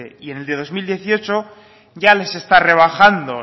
y en el de dos mil dieciocho ya les está rebajando